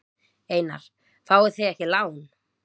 Einar: Fáið þið ekki lán?